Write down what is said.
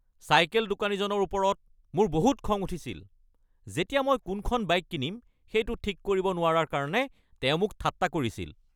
Cycle দোকানীজনৰ ওপৰত মোৰ বহুত খং উঠিছিল যেতিয়া মই কোনখন বাইক কিনিম সেইটো ঠিক কৰিব নোৱাৰাৰ কাৰণে তেওঁ মোক ঠাট্টা কৰিছিল।